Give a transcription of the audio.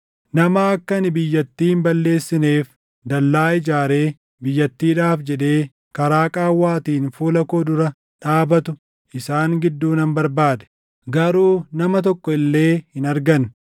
“Nama akka ani biyyattii hin balleessineef dallaa ijaaree biyyattiidhaaf jedhee karaa qaawwaatiin fuula koo dura dhaabatu isaan gidduu nan barbaade; garuu nama tokko illee hin arganne.